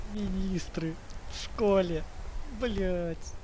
министры в школе блять